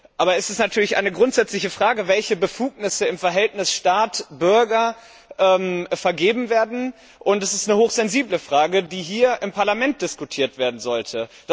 Aber es ist natürlich eine grundsätzliche Frage, welche Befugnisse im Verhältnis Staat Bürger vergeben werden, und es ist eine hochsensible Frage, die hier im Parlament diskutiert werden sollte.